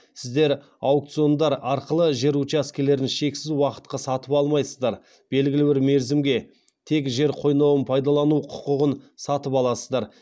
сіздер аукциондар арқылы жер учаскелерін шексіз уақытқа сатып алмайсыздар белгілі бір мерзімге тек жер қойнауын пайдалану құқығын сатып аласыздар